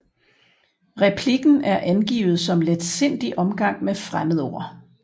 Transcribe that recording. Replikken er angivet som letsindig omgang med fremmedord